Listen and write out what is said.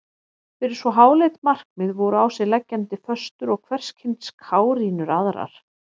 Fyrir svo háleitt markmið voru á sig leggjandi föstur og hverskyns kárínur aðrar.